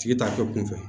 Tigi t'a kɛ kunfɛ